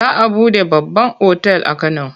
Za a buɗe babban otal a Kano.